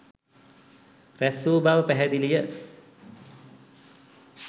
රැස්වූ බව පැහැදිලිය.